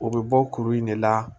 O bɛ bɔ kuru in de la